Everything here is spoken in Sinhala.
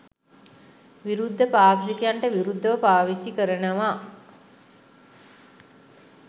විරුද්ධ පාක්ෂිකයන්ට විරුද්ධව පාවිච්චි කරනව.